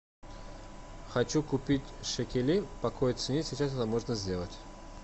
хочу купить шекелей по какой цене сейчас это можно сделать